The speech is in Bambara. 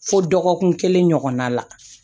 Fo dɔgɔkun kelen ɲɔgɔnna la